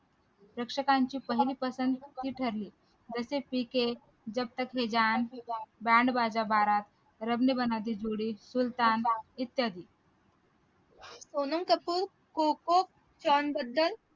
प्रेक्षकांची पहिली ठरली जसेच कि जप तक हे जान, बँड बाजा बारात, रबने बनादी जोडी, सुलतान इत्यादी